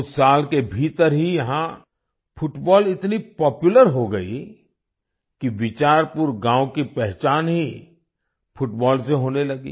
कुछ साल के भीतर ही यहाँ फुटबॉल इतनी पॉपुलर हो गयी कि बिचारपुर गांव की पहचान ही फुटबॉल से होने लगी